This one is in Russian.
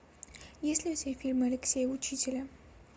есть ли у тебя фильмы алексея учителя